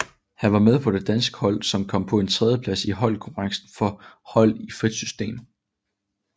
Han var med på det danske hold som kom på en tredjeplads i holdkonkurrencen for hold i frit system